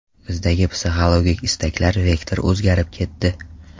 Bizda psixologik istaklar vektori o‘zgarib ketdi.